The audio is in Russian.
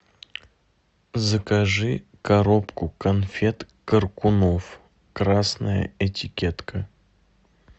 закажи коробку конфет коркунов красная этикетка